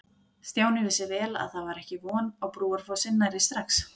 Stjáni vissi vel að það var ekki von á Brúarfossi nærri strax.